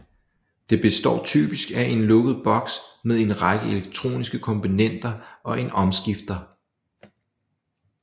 Det består typisk af en lukket boks med en række elektroniske komponenter og en omskifter